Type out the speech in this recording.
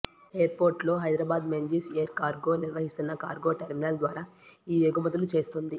airport లో Hyderabad Menzies air cargo నిర్వహిస్తున్న cargo terminal ద్వారా ఈఎగుమతులు చేస్తోంది